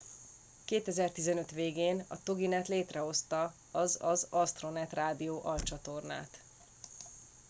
2015 végén a toginet létrehozta az az astronet rádió alcsatornát